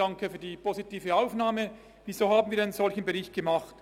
Weshalb haben wir einen solchen Bericht gemacht?